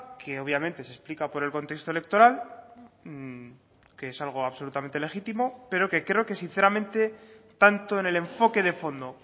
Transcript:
que obviamente se explica por el contexto electoral que es algo absolutamente legítimo pero que creo que sinceramente tanto en el enfoque de fondo